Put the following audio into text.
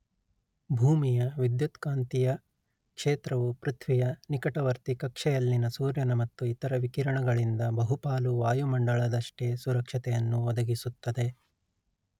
ಭೂಮಿಯ ವಿದ್ಯುತ್ಕಾಂತೀಯ ಕ್ಷೇತ್ರವು ಪೃಥ್ವಿಯ ನಿಕಟವರ್ತಿ ಕಕ್ಷೆಯಲ್ಲಿನ ಸೂರ್ಯನ ಮತ್ತು ಇತರ ವಿಕಿರಣಗಳಿಂದ ಬಹುಪಾಲು ವಾಯುಮಂಡಲದಷ್ಟೇ ಸುರಕ್ಷತೆಯನ್ನು ಒದಗಿಸುತ್ತದೆ